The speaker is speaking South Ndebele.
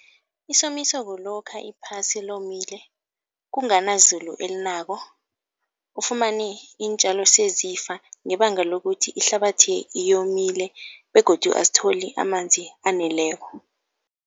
Isomiso kulokha iphasi lomile, kunganazulu elinako, ufumane iintjalo sezifa ngebanga lokuthi ihlabathi yomile begodu azitholi amanzi aneleko.